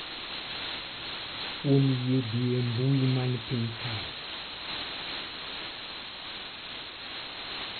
Kuom yie dhi e mbui man piny kae.